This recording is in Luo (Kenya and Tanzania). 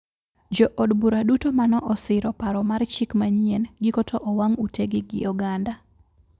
Jo od bura duto mano osiro paro mar chik manyien giko to owang` ute gi oganda